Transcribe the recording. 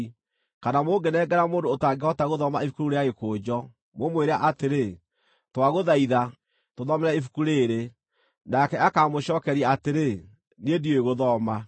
Kana mũngĩnengera mũndũ ũtangĩhota gũthoma ibuku rĩu rĩa gĩkũnjo, mũmwĩre atĩrĩ, “Twagũthaitha, tũthomere ibuku rĩĩrĩ,” nake akaamũcookeria atĩrĩ, “Niĩ ndiũĩ gũthoma.”